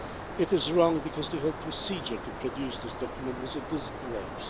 It is wrong because the whole procedure to produce this document was a disgrace.